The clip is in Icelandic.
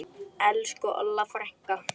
Elsku Olla frænka.